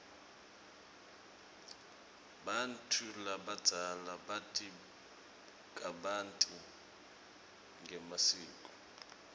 bantfu labadzala bati kabanti ngemasiko